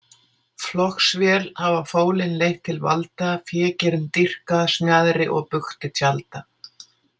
Flokksvél hafa fólin leitt til valda, fégirnd dýrka, smjaðri og bugti tjalda.